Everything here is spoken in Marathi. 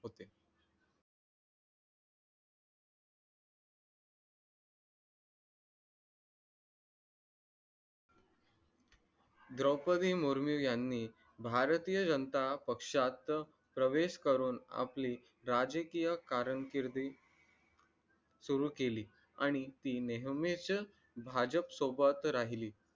द्रौपदी मुर्मून यांनी भारतीय जनता पक्षात प्रवेश करून आपली राजकीय कारण कीरदि सुरू केली आणि ती नेहमीच भाजप सोबत राहील